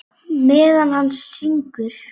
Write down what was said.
Meðan hann syngur.